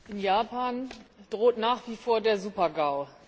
In Japan droht nach wie vor der Supergau.